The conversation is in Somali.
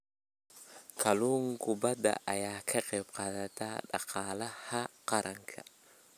Kalluumeysiga badda ayaa ka qayb qaata dhaqaalaha qaranka.